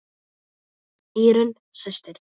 Írunn systir.